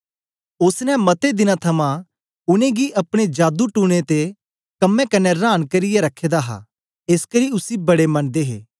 ओसने मते दिनें थमां उनेंगी अपने जादू टूने दे कम्में कन्ने रांन करियै रखे दा हा एसकरी उसी बडे मनदे हे